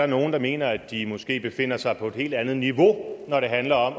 nogle der mener at de måske befinder sig på et helt andet niveau når det handler om